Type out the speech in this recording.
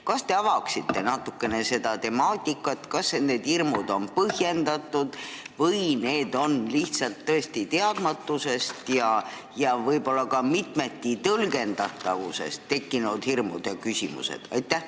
Kas te avaksite natukene seda temaatikat, kas sellised hirmud ja küsimused on põhjendatud või on need tekkinud tõesti lihtsalt teadmatusest ja võib-olla ka mitmetitõlgendatavusest?